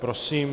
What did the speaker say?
Prosím.